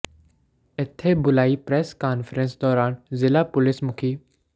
ਇੱਥੇ ਬੁਲਾਈ press conference ਦੌਰਾਨ ਜ਼ਿਲ੍ਹਾ ਪੁਲੀਸ ਮੁਖੀ ਡਾ